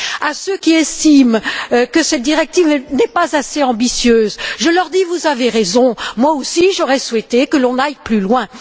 À ceux qui estiment que cette directive n'est pas assez ambitieuse, je dis Vous avez raison, moi aussi, j'aurais souhaité que l'on aille plus loin!